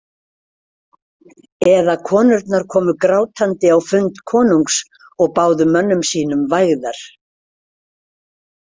Eða konurnar komu grátandi á fund konungs og báðu mönnum sínum vægðar.